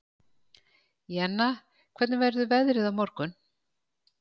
Jenna, hvernig verður veðrið á morgun?